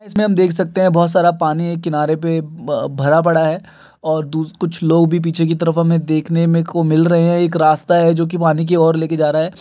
इसमे हम देख सकते हैं। बहुत सारा पानी है किनारे पे ब भरा पड़ा है और दू कुछ लोग भी हमें पीछे की तरफ देखने मे को मिल रहे हैं। एक रास्ता है जो की पानी की ओर लेकर जा रहा है।